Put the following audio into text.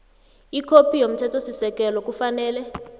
ikhophi yomthethosisekelo kufanele